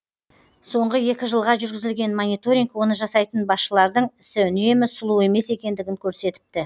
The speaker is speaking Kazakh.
соңғы екі жылға жүргізілген мониторинг оны жасайтын басшылардың ісі үнемі сұлу емес екендігін көрсетіпті